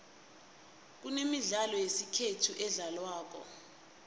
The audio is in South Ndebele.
kunemidlalo yesikhethu edlalwako